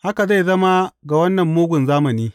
Haka zai zama ga wannan mugun zamani.